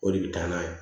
O de bɛ taa n'a ye